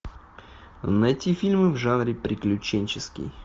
найти фильмы в жанре приключенческий